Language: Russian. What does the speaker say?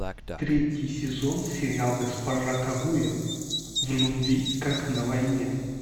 третий сезон сериал госпожа кагуя в любви как на войне